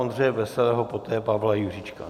Ondřeje Veselého, poté Pavla Juříčka.